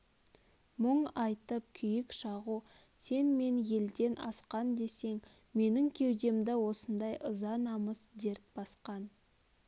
мұң айтып күйік шағу сен мен елден асқан десең менің кеудемді осындай ыза намыс дерт басқан